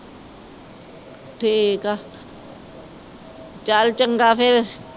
ਠੀਕ ਆ ਚਲ ਚੰਗਾ ਫਿਰ।